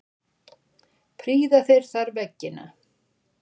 Prýða þeir þar veggina.